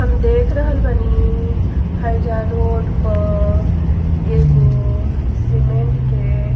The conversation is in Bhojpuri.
हम देख रहल बानी। हेइजा रोड प एगो सीमेंट के --